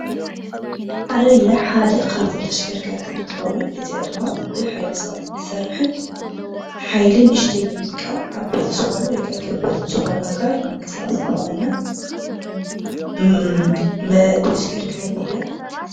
ዓረብያ ሓደ ካብቶም ተሽከረከርቲ እንትከውን እዚኣ ድማ ብሓይሊ ሰባት ትሰርሕን ሓይሊ ንእሽተይ ብምጥቃም ዓበይቲ ዝኮኑ ወይ ከኣ ከበድቲ ዝኮኑ አካል ምንቅስቃስ ትጠቕመና መሽከርከሪት እያ።